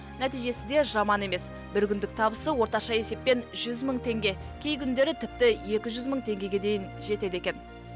нәтижесі де жаман емес бір күндік табысы орташа есеппен жүз мың теңге кей күндері тіпті екі жүз мың теңгеге дейін жетеді екен